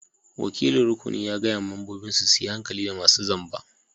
Wakilin rukunin ya gaya ma membobin su yi hankali da masun zamba.